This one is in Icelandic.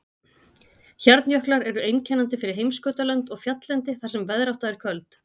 Hjarnjöklar eru einkennandi fyrir heimskautalönd og fjalllendi þar sem veðrátta er köld.